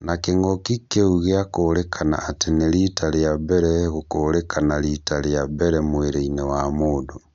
Na kĩng'uki kĩu gĩakũrĩkana atĩ nĩrita rĩa mbere gũkũrĩkana rita rĩa mbere mwĩrĩ-inĩ wa mũndũ